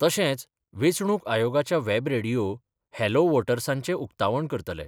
तशेच वेंचणूक आयोगाच्या व्हॅब रेडिओ, 'हॅलो व्होटर्सा'चें उक्तावण करतले.